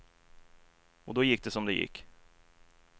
Och då gick det som det gick.